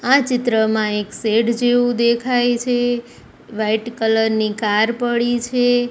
આ ચિત્રમાં એક સેડ જેવુ દેખાય છે વ્હાઇટ કલર ની કાર પડી છે.